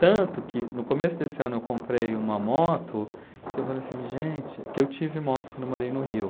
Tanto que no começo desse ano eu comprei uma moto, que eu falei assim, gente, que eu tive moto quando eu morei no Rio.